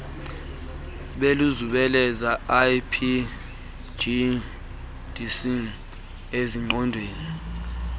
beluzungeleze ipgds ezingqondweni